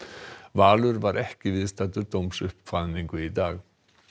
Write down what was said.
Valur var ekki viðstaddur dómsuppkvaðningu í dag